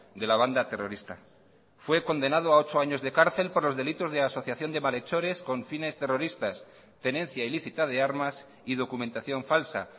de la banda terrorista fue condenado a ocho años de cárcel por los delitos de asociación de malhechores con fines terroristas tenencia ilícita de armas y documentación falsa